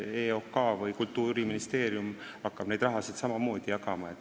EOK või Kultuuriministeerium hakkab samamoodi seda raha jagama.